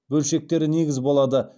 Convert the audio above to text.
бөлшектері негіз болады